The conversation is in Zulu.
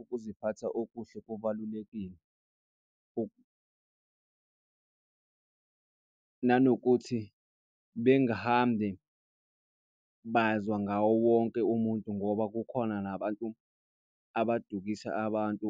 ukuziphatha okuhle kubalulekile. Nanokuthi bengihambe bazwa ngawo wonke umuntu ngoba kukhona nabantu abadukisa abantu .